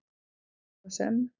svo sem